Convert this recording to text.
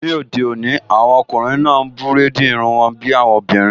Ní òde òní, àwọn ọkùnrin náà n búrèdì irun wọn bí àwọn obìnrin